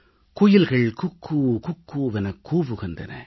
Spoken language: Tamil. குயில்கள் குக்கூ குக்கூவெனக் கூவுகின்றன